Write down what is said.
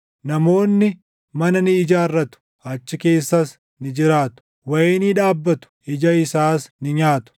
Namoonni mana ni ijaarratu; achi keessas ni jiraatu; wayinii dhaabbatu; ija isaas ni nyaatu.